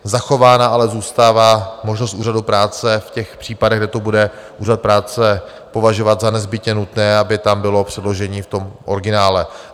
Zachována ale zůstává možnost úřadu práce v těch případech, kde to bude úřad práce považovat za nezbytně nutné, aby tam bylo předložení v tom originále.